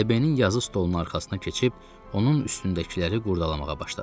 DB-nin yazı stolunun arxasına keçib onun üstündəkiləri qurdalamağa başladım.